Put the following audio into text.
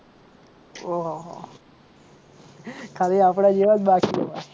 ઓહહો ખાલી આપડા જેવા જ બાકી